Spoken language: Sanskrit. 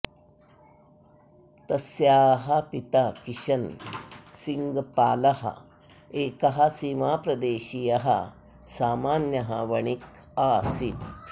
तस्याः पिता किशन् सिङ्ग् पालः एकः सीमाप्रदेशीयः सामान्यः वणिक् आसीत्